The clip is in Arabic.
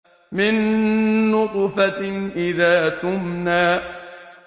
مِن نُّطْفَةٍ إِذَا تُمْنَىٰ